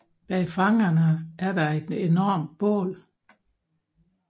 Bag fangerne er der et enormt bål